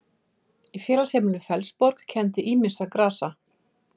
Í félagsheimilinu Fellsborg kenndi ýmissa grasa.